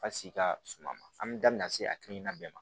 A sigi ka suman an mi dabila se hakilina bɛɛ ma